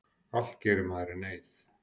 Allt gerir maður í neyð.